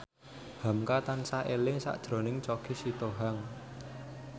hamka tansah eling sakjroning Choky Sitohang